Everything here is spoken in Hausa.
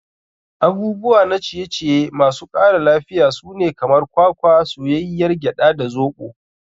Abubuwa na ciye ciye masu ƙara lafiya sune kamar kwakwa, soyayyiyar gyada, da zoɓo.